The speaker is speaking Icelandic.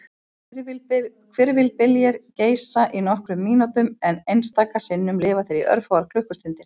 Hvirfilbyljir geisa í nokkrar mínútur en einstaka sinnum lifa þeir í örfáar klukkustundir.